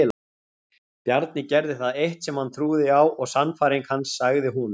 Bjarni gerði það eitt sem hann trúði á og sannfæring hans sagði honum.